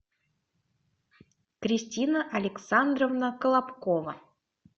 кристина александровна колобкова